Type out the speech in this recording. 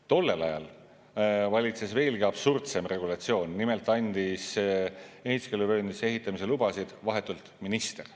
Tollel ajal valitses veelgi absurdsem regulatsioon: nimelt andis ehituskeeluvööndisse ehitamise lubasid vahetult minister.